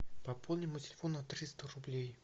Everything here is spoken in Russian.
пополни мой телефон на триста рублей